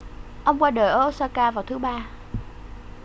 ông qua đời ở osaka vào thứ ba